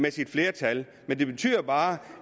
af sit flertal men det betyder jo bare